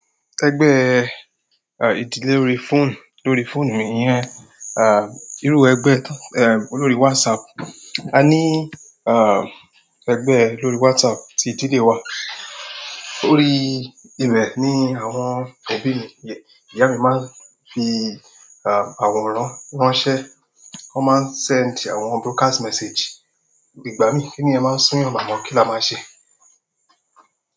Egbe à, ìdílé lórí fóònù, lórí fóònù mi iyẹn, à, ìrú ẹgbẹ́, ẹ, lórí WhatsApp. A ní, à, ẹgbẹ́ lórí WhatsApp tí ìdílé wa. Órí ibẹ̀ ni àwọn òbí mi, ìyá mi máa ń fi, à, àwọran ránṣẹ́. Wọ́n máa ń send àwọn broadcast message. "Ìgbá mi kí nìyẹn máa súu eeyàn àmo kí la máa ṣe?"